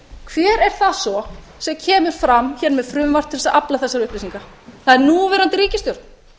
hver er það svo sem kemur fram hér með frumvarp til þess að afla þessara upplýsinga það er núverandi ríkisstjórn